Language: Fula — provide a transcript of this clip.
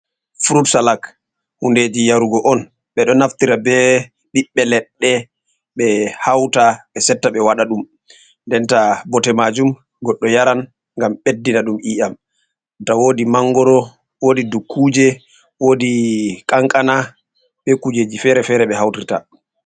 Furut salak hundeji yarugo on ɓeɗo naftira be ɓiɓɓe leɗɗe ɓe hauta ɓe setta ɓe waɗa ɗum nden ta bote majum goɗɗo yaran ngam ɓeddina ɗum iyam. Nda woodi mangoro, wodi dukkuje wodi kankana be kujeji fere-fere ɓe hautirta.